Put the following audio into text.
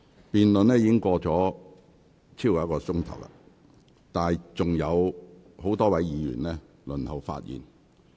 辯論已進行超過1小時，但仍有多位議員輪候發言。